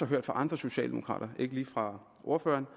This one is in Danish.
hørt fra andre socialdemokraters side dog ikke lige fra ordføreren